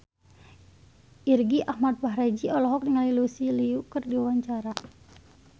Irgi Ahmad Fahrezi olohok ningali Lucy Liu keur diwawancara